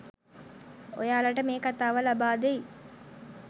ඔයාලට මේ කතාව ලබාදෙයි.